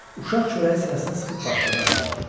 Uşaq çörəyi sinəsinə sıxıb başladı ağlamağa.